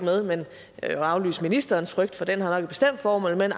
med at aflyse ministerens frygt for den har vel et bestemt formål den